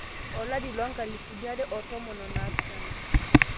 olari le 2017